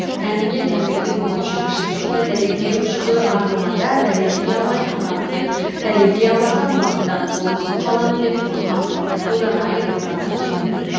тәніме тәуелді болып жүріп шындықты дәлелдеу жүгі артылғанда дәлелдей алмай қаламын деп дәлелдей алмасам бақыттан қол үзіп қаламын деп қорқамын ойланайын ойлана түсейін